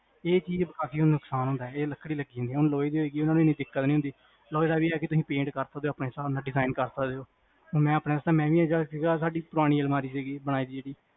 ਏ ਚੀਜ਼ ਨਾਲ ਕਾਫੀ ਨੁਕਸਾਨ ਹੁੰਦਾ ਹੈਗਾ ਜਿਹੜੀ ਲੱਕੜੀ ਹੁੰਦੀ ਲੋਹੇ ਦਾ ਇਹ ਵੀ ਆ ਤੁਸੀ paint ਕਰ ਸਕਦੇ ਆਪਣੇ ਹਿਸਾਬ ਨਾਲ design ਕਰ ਸਕਦੇ ਓ ਹੁਣ ਆਪਣੇ ਵਾਸਤੇ ਤਾਂ ਮਹਿੰਗੀ ਜਿਹੜੀ ਆਪਣੀ ਪੁਰਾਣੀ ਅਲਮਾਰੀ ਹੈਗੀ